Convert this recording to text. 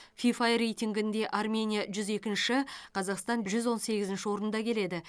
фифа рейтингінде армения жүз екінші қазақстан жүз он сегізінші орында келеді